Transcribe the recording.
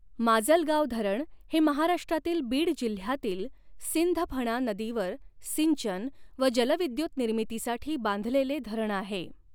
माजलगाव धरण हे महाराष्ट्रातील बीड जिल्ह्यातील सिंधफणा नदीवर सिंचन व जलविदयुतनिर्मितीसाठी बांधलेले धरण आहे.